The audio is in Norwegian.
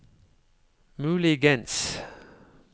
muligens